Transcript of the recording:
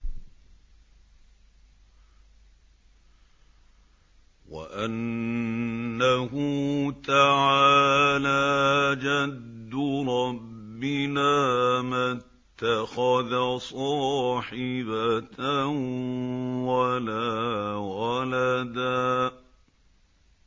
وَأَنَّهُ تَعَالَىٰ جَدُّ رَبِّنَا مَا اتَّخَذَ صَاحِبَةً وَلَا وَلَدًا